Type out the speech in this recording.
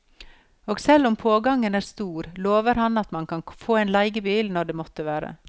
Og selv om pågangen er stor, lover han at man kan få en leiebil når det måtte være.